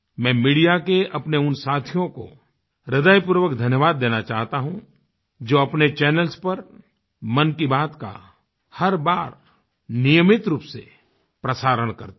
मैं मीडिया के अपने उन साथियों को हृदयपूर्वक धन्यवाद देना चाहता हूँ जो अपने चैनल्स पर मन की बात का हर बार नियमित रूप से प्रसारण करते हैं